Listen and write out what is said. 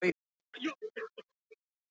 Grímur steig á enda einnar spýtunnar.